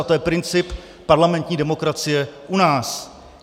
A to je princip parlamentní demokracie u nás.